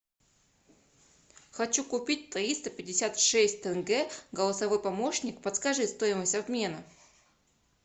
хочу купить триста пятьдесят шесть тенге голосовой помощник подскажи стоимость обмена